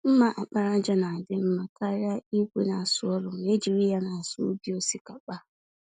mma àkpàràjà ná adị mmá karịa ìgwè n'asụ ọrụ, ma ejiri ya n'asụ ubi osikapa.